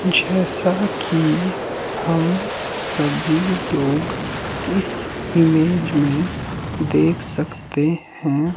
जैसा कि हम सभी लोग इस ईमेज में देख सकते है।